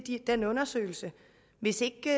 den undersøgelse hvis ikke